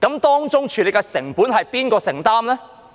當中處理的成本由誰承擔？